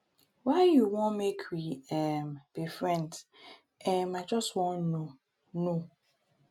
why you wan make we um be friends? um i just wan know know.